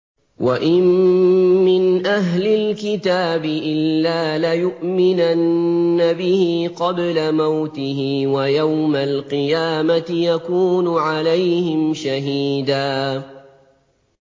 وَإِن مِّنْ أَهْلِ الْكِتَابِ إِلَّا لَيُؤْمِنَنَّ بِهِ قَبْلَ مَوْتِهِ ۖ وَيَوْمَ الْقِيَامَةِ يَكُونُ عَلَيْهِمْ شَهِيدًا